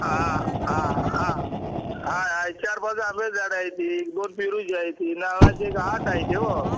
आ आ आ आ आहे चार पाच आम्ब्याची झाड आहे ति दोन पेरूची आहे ति नारळाची आठ आहेति हो